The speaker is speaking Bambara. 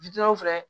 filɛ